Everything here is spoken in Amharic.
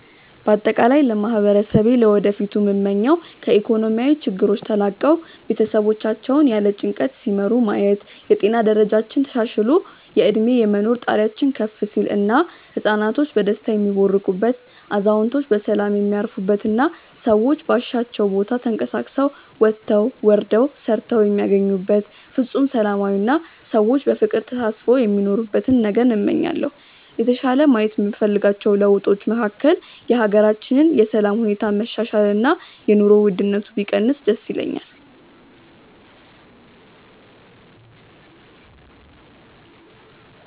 በአጠቃላይ ለማህበረሰቤ ለወደፊቱ ምመኘው ከኢኮኖሚያዊ ችግሮች ተላቀው ቤተሰቦቻቸውን ያለ ጭንቀት ሲመሩ ማየት፣ የጤና ደረጃችን ተሻሽሎ የእድሜ የመኖር ጣሪያችን ከፍ ሲል እና ህፃናቶች በደስታ የሚቦርቁበት፣ አዛውንቶች በሰላም የሚያርፉበት እና ሰዎች ባሻቸው ቦታ ተንቀሳቅሰው ወጥተው ወርደው ሰርተው የሚያገኙበት ፍፁም ሰላማዊ አና ሰዎች በፍቅር ተሳስበው የሚኖሩበትን ነገን እመኛለሁ። የተሻለ ማየት የምፈልጋቸው ለውጦች መካከል የሀገራችንን የሰላም ሁኔታ መሻሻል እና የኑሮ ውድነቱ ቢቀንስ ደስ ይለኛል።